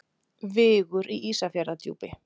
Vigur í Ísafjarðardjúpi.